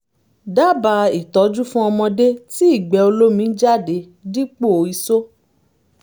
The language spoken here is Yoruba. dábàá ìtọ́jú fún ọmọdé tí ìgbẹ́ olómi ń jáde dípò isó